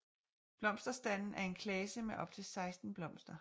Blomsterstanden er en klase med op til 16 blomster